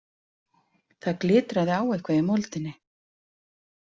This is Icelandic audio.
Það glitraði á eitthvað í moldinni.